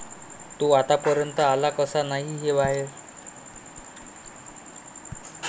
तो आत्तापर्यंत आला कसा नाही बाहेर?